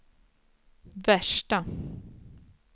värsta